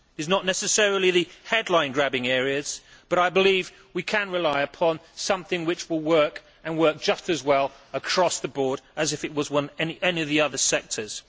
They are not necessarily the headline grabbing areas but I believe we can rely upon something which will work and work just as well across the board as if it were any of the other sectors.